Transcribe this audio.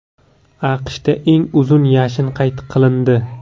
AQShda eng uzun yashin qayd qilindi.